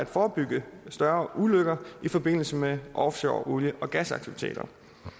forebyggelse af større ulykker i forbindelse med offshore olie og gasaktiviteter